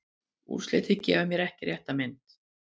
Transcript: Úrslitin gefa ekki rétta mynd.